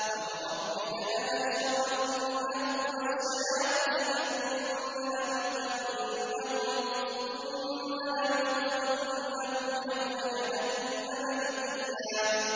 فَوَرَبِّكَ لَنَحْشُرَنَّهُمْ وَالشَّيَاطِينَ ثُمَّ لَنُحْضِرَنَّهُمْ حَوْلَ جَهَنَّمَ جِثِيًّا